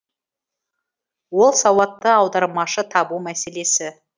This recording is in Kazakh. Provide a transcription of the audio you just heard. ол сауатты аудармашы табу мәселесі